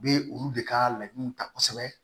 U bɛ olu de ka laɲiniw ta kosɛbɛ